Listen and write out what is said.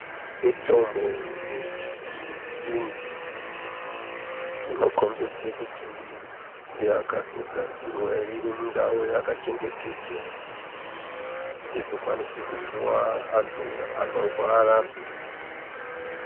Mitombo yechiyungu, inokhombedze kuti yakatogadzirwa irimundau yakachengetedzwa, izvokwanise kupuwa antu anorwara.